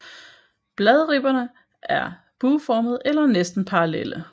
Bladribberne er bueformede eller næsten parallelle